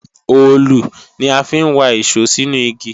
òòlù ni a fi ń wa ìṣó sínú igi